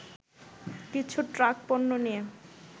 কিছু ট্রাক পণ্য নিয়ে